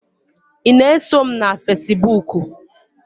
ị na-eso m na Fesibuku?